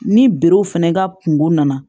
Ni berew fɛnɛ ka kungo nana